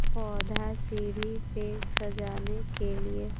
पौधा सीढ़ी पे सजाने के लिए--